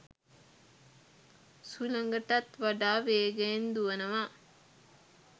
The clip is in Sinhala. සුළඟටත් වඩා වේගයෙන් දුවනවා.